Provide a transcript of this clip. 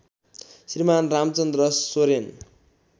Shriman Ramchandra Soren